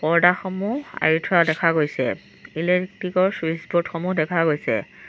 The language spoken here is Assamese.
পৰ্দাসমূহ আঁৰি থোৱা দেখা গৈছে ইলেকট্ৰিকৰ ছুইচ ব'ৰ্ড সমূহ দেখা গৈছে।